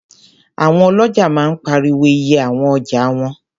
Àwọn ọlọ́ja máa ń pariwo iye àwọn ọjà wọn